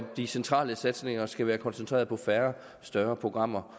de centrale satsninger skal være koncentreret på færre større programmer